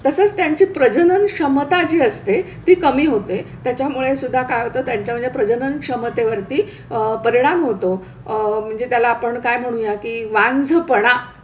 तसंच त्यांची प्रजननक्षमता जी असते ती कमी होते त्याच्यामुळेसुद्धा काय होतं त्यांच्या म्हणजे प्रजननक्षमतेवरती अह परिणाम होतो. अह म्हणजे त्याला आपण काय म्हणूया की वांझपाणा.